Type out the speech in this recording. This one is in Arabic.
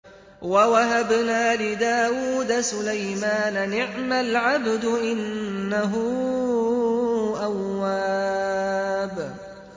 وَوَهَبْنَا لِدَاوُودَ سُلَيْمَانَ ۚ نِعْمَ الْعَبْدُ ۖ إِنَّهُ أَوَّابٌ